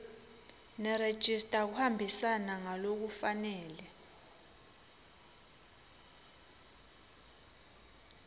nerejista kuhambisana ngalokufanele